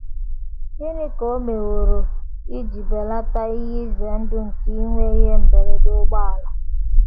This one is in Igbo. Gịnị ka o meworo um iji um belata ihe ize ndụ nke inwe ihe mberede ụgbọala?